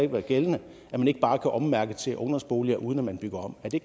være gældende at man ikke bare kan ommærke til ungdomsboliger uden at man bygger om er det